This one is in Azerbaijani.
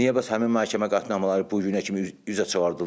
Niyə bəs həmin məhkəmə qətnamələri bu günə kimi üzə çıxardılmır?